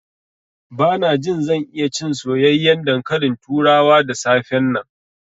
Bana jin zan iya cin soyayyen dankalin turawa da safe nan.